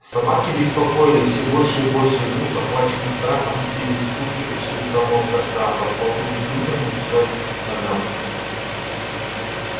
собаки беспокоились всё больше и больше и вдруг охваченные страхом сбились в кучу почти у самого костра подползли к людям и прижались к их ногам